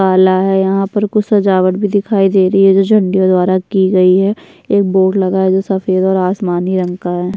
काला है यहाँ पर कुछ सजावट भी दिखाई दे रही है जो झंडियों द्वारा की गई हैं एक बोर्ड लगा है जो सफ़ेद और आसमानी रंग का है।